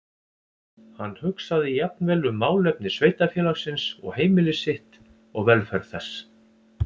Hann hugsaði jafnvel um málefni sveitarfélagsins og heimili sitt og velferð þess.